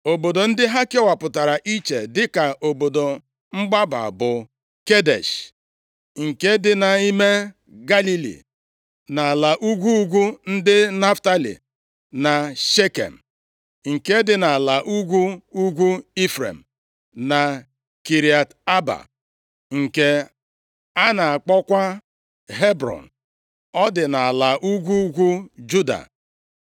Obodo ndị ha kewapụtara iche dịka obodo mgbaba bụ, Kedesh, + 20:7 \+xt Jos 21:32; 1Ih 6:76\+xt* nke dị nʼime Galili, nʼala ugwu ugwu ndị Naftalị; na Shekem, + 20:7 \+xt Jos 21:21; 2Ih 10:1\+xt* nke dị nʼala ugwu ugwu Ifrem na Kiriat Aba, + 20:7 \+xt Jos 14:15; 21:11,13\+xt* nke a na-akpọkwa Hebrọn. Ọ dị nʼala ugwu ugwu Juda.